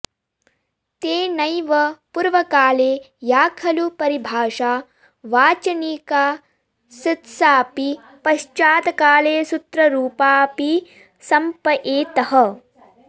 तेनैव पूर्वकाले या खलु परिभाषा वाचनिकाऽऽसीत्साऽपि पश्चातकाले सूत्ररूपाऽपि सम्पयेतः